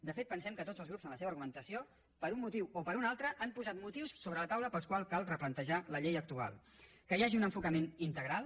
de fet pensem que tots els grups en la seva argumentació per un motiu o per un altre han posat motius sobre la taula pels quals cal replantejar la llei actual que hi hagi un enfocament integral